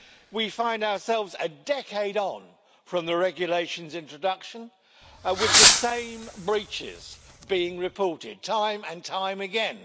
We find ourselves, a decade on from the regulation's introduction, with the same breaches being reported time and time again.